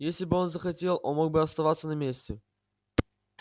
если бы он захотел он мог бы оставаться на месте